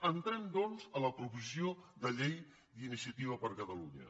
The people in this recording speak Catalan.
entrem doncs a la proposició de llei d’iniciativa per catalunya